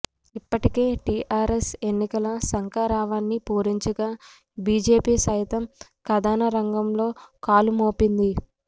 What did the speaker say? ఇప్పటికే టీఆర్ఎస్ ఎన్నికల శంఖారావాన్ని పూరించగా బీజేపీ సైతం కథనరంగంలో కాలుమోపింది